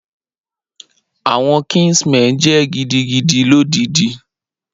Awọn kinsmen jẹ gidigidi lodidi.